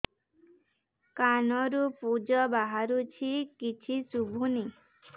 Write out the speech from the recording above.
କାନରୁ ପୂଜ ବାହାରୁଛି କିଛି ଶୁଭୁନି